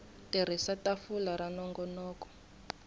tirhisa tafula ra nongonoko wo